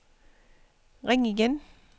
ring igen